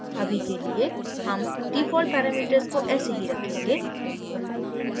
अभी के लिए हम default parameters को ऐसे ही रखेंगे